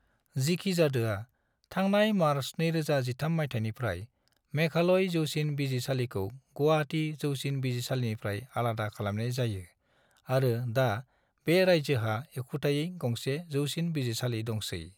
जिखिजादोआ थांनाय मार्च 2013 मायथाइनिफ्राय मेघालय जौसिन बिजिरसालिखौ गुवाहाटी जौसिन बिजिरसालिनिफ्राय आलादा खालामनाय जायो आरो दा बे राज्योहा एखुथायै गंसे जौसिन बिजिरसालि दंसै।